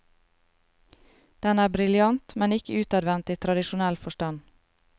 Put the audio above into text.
Den er briljant, men ikke utadvendt i tradisjonell forstand.